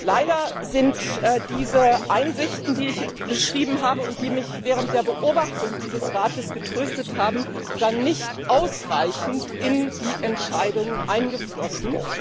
Leider sind diese Einsichten, die ich beschrieben habe, und die mich während der Beobachtung dieses Rates getröstet haben, dann nicht ausreichend in die Entscheidungen eingeflossen.